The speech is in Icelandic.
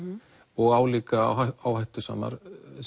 og álíka áhættusamar